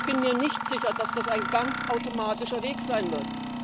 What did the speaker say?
Ich bin mir nicht sicher, dass das ein ganz automatischer Weg sein wird.